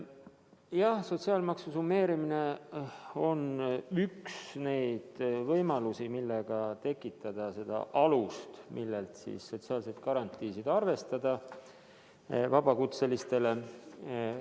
Jah, sotsiaalmaksu summeerimine on üks neid võimalusi, millega tekitada alus, millelt sotsiaalseid garantiisid vabakutseliste puhul arvestada.